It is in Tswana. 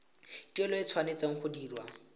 tuelo e tshwanetse go dirwa